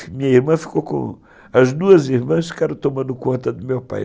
Minha irmã ficou com... As duas irmãs ficaram tomando conta do meu pai.